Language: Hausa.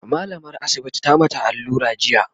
mallamar asibitin ta mata allura jiya